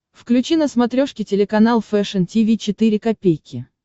включи на смотрешке телеканал фэшн ти ви четыре ка